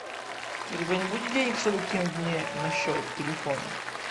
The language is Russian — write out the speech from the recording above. у тебя не будет денег чтобы кинуть мне на счет телефона